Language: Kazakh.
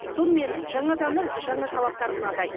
сонымен жаңа заңның жаңа талаптары мынадай